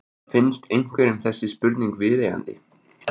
Finnst einhverjum þessi spurning viðeigandi?